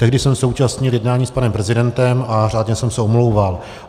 Tehdy jsem se účastnil jednání s panem prezidentem a řádně jsem se omlouval.